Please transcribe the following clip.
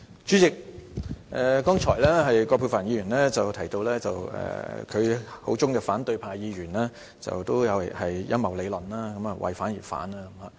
主席，剛才葛珮帆議員提到，她口中的反對派議員均有陰謀理論，為反而反。